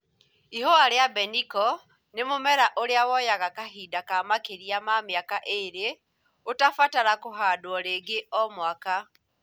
Ihũa rĩa mbeniko nĩ mũmera ũrĩa woyaga kahinda ka makĩrĩ ma mĩaka ĩrĩ ũtabatara kũhandwo rĩngĩ Omwaka.